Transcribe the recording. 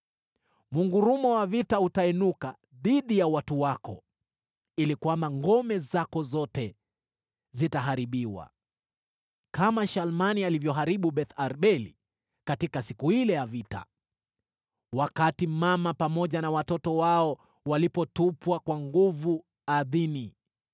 mngurumo wa vita utainuka dhidi ya watu wako, ili kwamba ngome zako zote zitaharibiwa: kama Shalmani alivyoharibu Beth-Arbeli katika siku ile ya vita, wakati mama pamoja na watoto wao walipotupwa kwa nguvu ardhini.